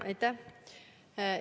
Aitäh!